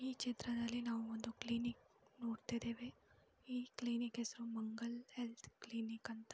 ಈ ಚಿತ್ರದಲ್ಲಿ ನಾವು ಒಂದು ಕ್ಲಿನಿಕ್ ನೋಡ್ತಾ ಇದ್ದೇವೆ ಈ ಕ್ಲಿನಿಕ್ ಹೆಸರು ಮಂಗಲ್ ಹೆಲ್ಥ್ ಕ್ಲಿನಿಕ್ ಅಂತ.